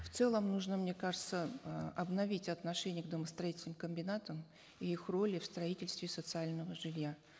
в целом нужно мне кажется э обновить отношение к домостроительным комбинатам и их роли в строительстве социального жилья